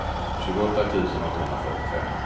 tjugoåtta tusen åttahundrafyrtiofem